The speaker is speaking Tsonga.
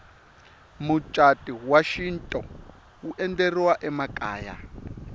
mucatu wa xintu wu endleriwa emakaya